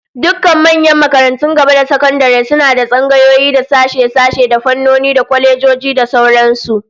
Dukkan manyan makarantun gaba da sakandare suna da tsangayoyi, da sashe-sashe, da fannoni, da kwalejoji da sauran su